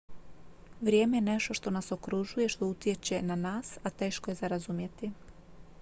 vrijeme je nešto što nas okružuje i što utječe na nas a teško je za razumjeti